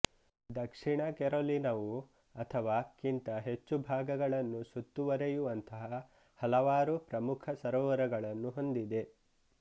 ದಕ್ಷಿಣ ಕೆರೊಲಿನಾವು ಅಥವಾ ಕ್ಕಿಂತ ಹೆಚ್ಚು ಭಾಗಗಳನ್ನು ಸುತ್ತುವರೆಯುವಂತಹ ಹಲವಾರು ಪ್ರಮುಖ ಸರೊವರಗಳನ್ನು ಹೊಂದಿದೆ